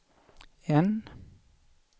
N